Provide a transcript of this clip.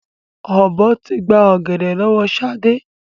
Ọ̀bọ tí gbà ọ̀gẹ̀dẹ̀ lọ́wọ́ sade